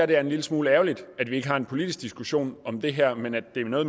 det er en lille smule ærgerligt at vi ikke har en politisk diskussion om det her men at det er noget